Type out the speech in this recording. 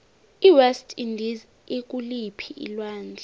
iwest indies ikuliphii alwandle